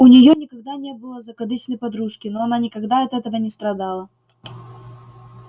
у нее никогда не было закадычной подружки но она никогда от этого не страдала